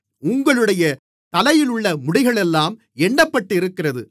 உங்களுடைய தலையிலுள்ள முடிகளெல்லாம் எண்ணப்பட்டிருக்கிறது